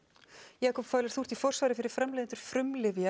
Jakob falur þú ert í forsvari fyrir framleiðendur frumlyfja